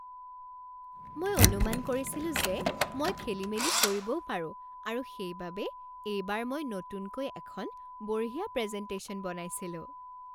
মই অনুমান কৰিছিলো যে মই খেলিমেলি কৰিবও পাৰোঁ আৰু সেইবাবে এইবাৰ মই নতুনকৈ এখন বঢ়িয়া প্ৰেজেণ্টেশ্যন বনাইছিলোঁ।